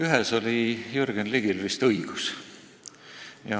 Ühes oli Jürgen Ligil vist õigus.